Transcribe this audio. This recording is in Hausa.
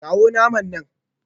Kawo naman nan